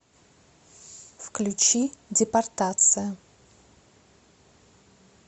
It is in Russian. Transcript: включи депортация